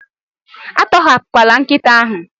Atọhapụla nkịta ahụ.